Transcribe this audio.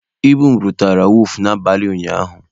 Ibu m rutere wọọfụ n'abalị ụnyaahụ.